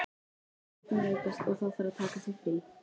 Börnin veikjast og þá þarf að taka sér frí.